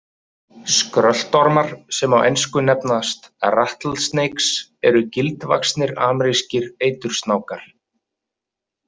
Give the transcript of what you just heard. Skröltormar, sem á ensku nefnast rattle snakes, eru gildvaxnir amerískir eitursnákar.